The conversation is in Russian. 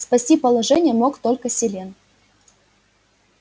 спасти положение мог только селен